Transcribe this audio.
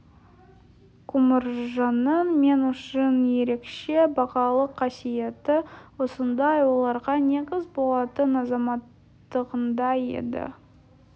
құмаржанның мен үшін ерекше бағалы қасиеті осындай ойларға негіз болатын азаматтығында еді